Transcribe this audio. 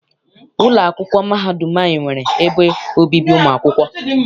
Ụlọ akwụkwọ mahadum anyị nwere ebe obibi ụmụ akwụkwọ.